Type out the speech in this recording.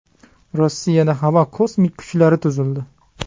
Rossiyada havo kosmik kuchlari tuzildi.